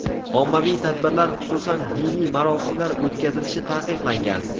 Ommaviy tadbirlar, xususan, diniy marosimlar o‘tkazilishi taqiqlangan.